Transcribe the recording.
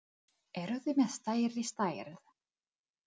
Eruð þið með stærri stærð?